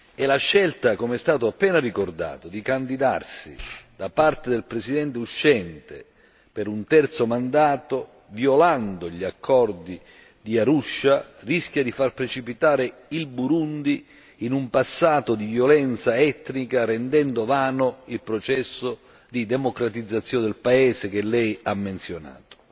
E la scelta, come è stato appena ricordato di candidarsi da parte del Presidente uscente per un terzo mandato, violando gli accordi di Arusha, rischia di far precipitare il Burundi in un passato di violenza etnica, rendendo vano il processo di democratizzazione del paese, che Lei ha menzionato.